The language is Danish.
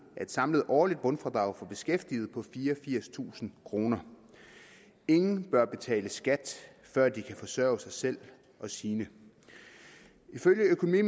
samlet årligt bundfradrag for beskæftigede på fireogfirstusind kroner ingen bør betale skat før de kan forsørge sig selv og sine ifølge økonomi